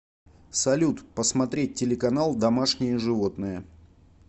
салют посмотреть телеканал домашние животные